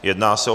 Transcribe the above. Jedná se o